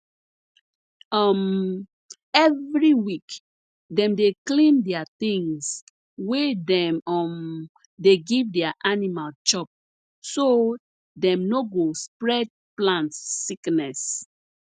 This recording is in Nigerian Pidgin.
um every week dem dey clean their things wey dem um dey give their animal chop so dem no go spread plant sickness